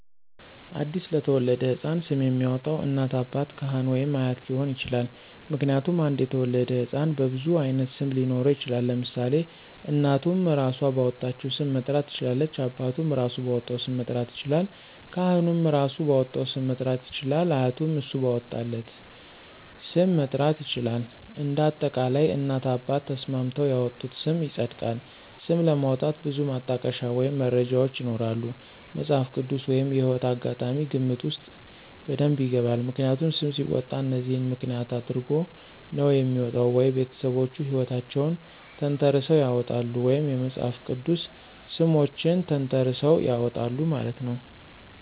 አዲስ ለተወለደው ሕፃን ስም የሚያወጣው እናት፣ አባት፣ ካህን ወይም አያት ሊሆን ይችላል። ምክንያቱም አንድ የተወለደ ህፃን በብዙ አይነት ስም ሊኖረው ይችላል ለምሳሌ እናቱም እራሶ ባወጣቸው ሰም መጥራት ትችላለች አባቱም እራሱ ባወጣው ስም መጥራት ይችላለል ካህኑም እራሱ ባወጣለት ስም መጥራት ይችላል አያቱም እሱ ባወጣለት ስ??? ም መጥራት ይችላል እንደ አጠቃላይ እናት አባት ተስማምተው ያወጡት ስም ይፀድቃል። ስም ለማውጣት ብዙ ማጠቀሻ ወይም መነሻዎች ይኖራሉ መፅሃፍ ቅድስ ወይም የህይወት አጋጣሚ ግምት ውስጥ በደብ ይገባል። ምክንያቱም ሰም ሲወጣ እነዚህን ምክንያት አድረጎ ነው የሚወጣው ወይ ቤተሰቦቹ ሕይወታቸውን ተንተረሰው ያውጣሉ ወይም የመፅሐፍ ቅድስ ሰሞችን ተንተራሰው ያወጣሉ ማለት ነው።